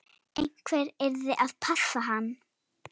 Einhver yrði að passa hann.